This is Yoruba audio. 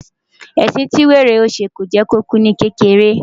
Ẹ̀sìn tí wèrè yóò ṣe, kìí jẹ́ kó kú ní kékeré.